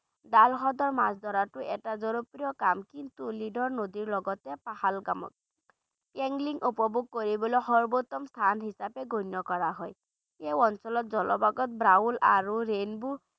দাল হ্ৰদত মাছ ধৰাটো এটা জনপ্ৰিয় কাম কিন্তু নদীৰ লগতে পহলগামত angling উপভোগ কৰিবলৈ সৰ্বোত্তম স্থান হিচাপে গণ্য কৰা হয় এই অঞ্চলত জলভাগত আৰু brown আৰু rainbow